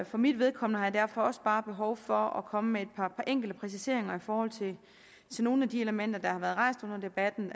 for mit vedkommende har jeg derfor også bare behov for at komme med et par enkelte præciseringer i forhold til nogle af de elementer der har været rejst under debatten